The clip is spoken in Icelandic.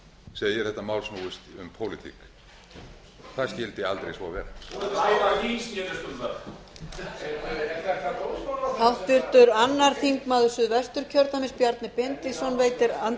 segir að þetta mál snúist um pólitík það skyldi aldrei vera ræðan þín snerist um það er þetta dómsmálaráðherra sem að